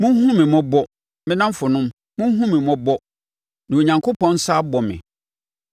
“Monhunu me mmɔbɔ, me nnamfonom, monhunu mmɔbɔ, na Onyankopɔn nsa abɔ me.